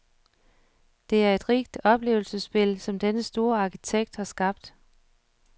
Det er et rigt oplevelsesspil, som denne store arkitekt har skabt.